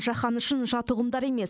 жаһан үшін жат ұғымдар емес